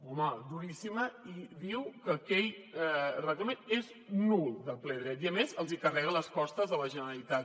home duríssima i diu que aquell reglament és nul de ple dret i a més els carrega les costes a la generalitat